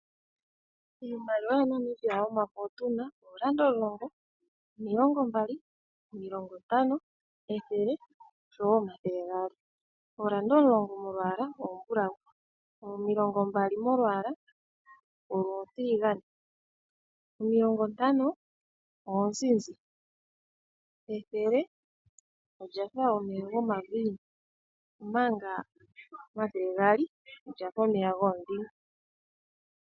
Iimaliwa yaNamibia yomafo otuna oodollar omulongo, omilongo mbali, omilongo ntano, ethele oshowo omathele gaali. Oodollar omulongo. molwaala ombulawu. Omilongo mbali molwaala olutiligane. Omilongo ntano oonzizi. Ethele olya fa omeya gomaviinu. Omanga omathele gaali olyafa omeya goodhime.